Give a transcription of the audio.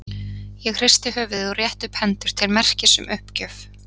Ég hristi höfuðið og rétti upp hendur til merkis um uppgjöf.